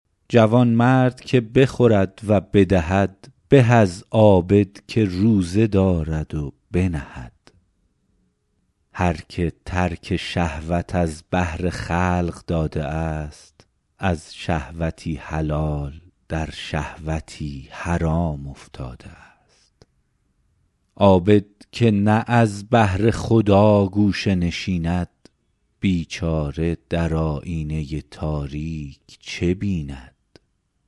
جوانمرد که بخورد و بدهد به از عابدی که روزه دارد و بنهد هر که ترک شهوات از بهر قبول خلق داده است از شهوتی حلال در شهوتی حرام افتاده است عابد که نه از بهر خدا گوشه نشیند بیچاره در آیینه تاریک چه بیند